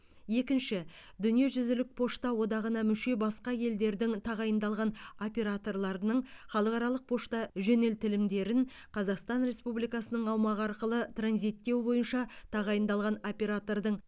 екінші дүниежүзілік пошта одағына мүше басқа елдердің тағайындалған операторларының халықаралық пошта жөнелтілімдерін қазақстан республикасының аумағы арқылы транзиттеу бойынша тағайындалған оператордың